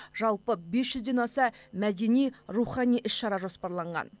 жалпы бес жүзден аса мәдени рухани іс шара жоспарланған